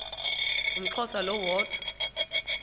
umxhosa lo woda